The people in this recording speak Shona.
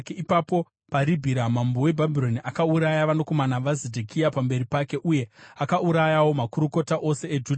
Ipapo paRibhira Mambo weBhabhironi akauraya vanakomana vaZedhekia pamberi pake uye akaurayawo makurukota ose eJudha.